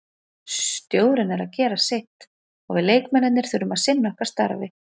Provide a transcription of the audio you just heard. Stjórinn er að gera sitt og við leikmennirnir þurfum að sinna okkar starfi.